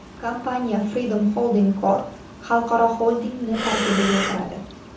Kompaniya Freedom Holding Corp. xalqaro xoldingi tarkibiga kiradi.